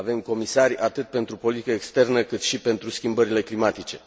avem comisari atât pentru politică externă, cât și pentru schimbările climatice.